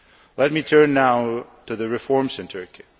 Let me turn now to the reforms in Turkey.